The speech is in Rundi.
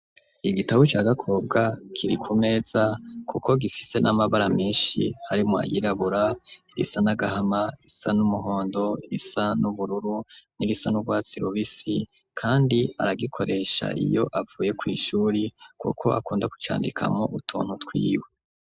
Igitabo ca Gakobwa, kiri ku meza, kuko gifise, n'amabara menshi; harimwo ayirabura, irisa n'agahama, irisa n'umuhondo, irisa n'ubururu, n'irisa n'urwatsi rubisi; kandi aragikoresha, iyo avuye kw'ishuri, kuko akunda kucandikamwo, utuntu twiwe.